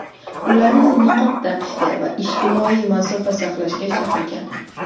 ularni niqob taqishga va ijtimoiy masofa saqlashga chaqirgan.